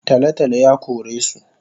Talotalo yakoresu